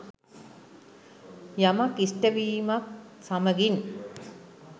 යමක් ඉෂ්ට වීමත් සමඟින්